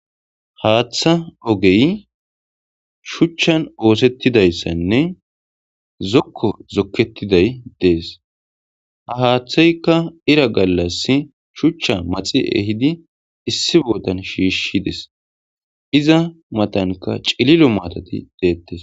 Haaththa ogey shuchchan oosettidayssanne zokko zokkettiday dees ha haaththeyka ira gallas shuchcha maxi ehidi issi bootan shiishides, iza matanka cililo maatoti deettes.